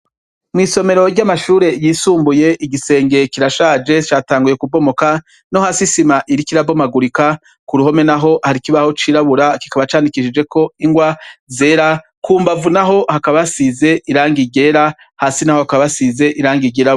Mw'isomero ry'amashure yisumbuye igisenge kirashaje catanguye kubomoka, no hasi isima iriko irabomagurika, ku ruhome naho kari ikibaho cirabura kikaba candikishijeko ingwa zera ku mbavu naho hakaba hasize irangi ryera, hasi naho hakaba hasize irangi ryirabura.